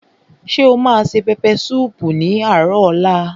Ṣé o ma se pẹpẹ súùpù ní àárò ọ̀la?